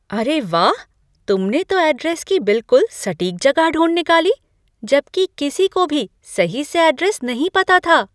अरे वाह! तुमने तो ऐड्रेस की बिलकुल सटीक जगह ढूंढ निकाली, जबकि किसी को भी सही से ऐड्रेस नहीं पता था।